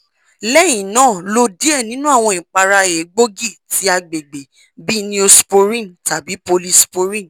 lẹ́yìn náà lo diẹ ninu awọn ìpàrà egboogi ti agbègbè bii neosporin tabi polysporin